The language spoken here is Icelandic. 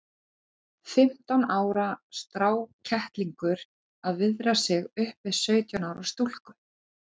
Fimmtán ára strákkettlingur að viðra sig upp við sautján ára stúlku!